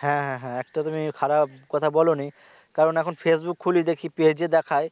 হ্যা হ্যা হ্যা একটা তুমি কথা বলো নি কারন এখন Facebook খুলে দেখি পেজে দেখায়